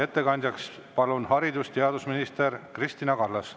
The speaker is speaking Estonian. Ettekandjaks palun haridus‑ ja teadusminister Kristina Kallase.